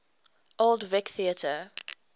old vic theatre